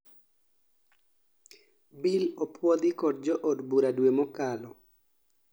bill opuodhi kod jo od bura due mokalo